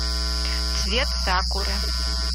цвет сакуры